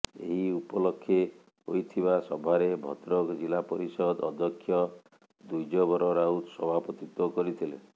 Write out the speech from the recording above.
ଏହି ଉପଲକ୍ଷେ ହୋଇଥିବା ସଭାରେ ଭଦ୍ରକ ଜିଲ୍ଲାପରିଷଦ ଅଧ୍ୟକ୍ଷ ଦ୍ୱିଜବର ରାଉତ ସଭାପତିତ୍ୱ କରିଥିଲେ